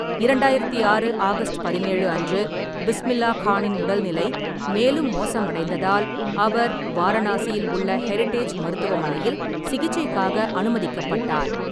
இரண்டாயிரத்து ஆறு ஆகஸ்ட் பதினேழு அன்று பிஸ்மில்லா கானின் உடல்நிலை மேலும் மோசமடைந்ததால், அவர் வாரணாசியில் உள்ள ஹெரிடேஜ் மருத்துவமனையில் சிகிச்சைக்காக அனுமதிக்கப்பட்டார்.